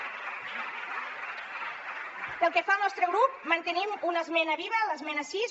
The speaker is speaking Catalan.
pel que fa al nostre grup mantenim una esmena viva l’esmena sis